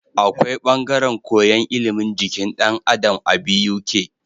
Akwai bangaren koyan ilimin jikin dan Adam a Buk